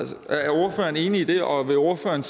er ordføreren enig i det og vil ordføreren